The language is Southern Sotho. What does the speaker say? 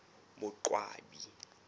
boqwabi